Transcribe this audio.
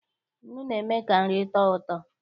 Nnụ na-eme ka nri tọọ ụtọ.